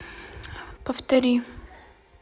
повтори